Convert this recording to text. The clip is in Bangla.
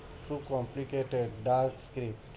খুব complicated